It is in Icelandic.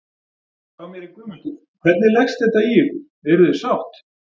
Hjá mér er Guðmundur, hvernig leggst þetta í ykkur, eruð þið sátt?